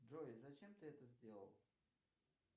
джой зачем ты это сделал